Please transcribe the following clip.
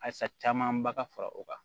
Halisa camanba ka fara o kan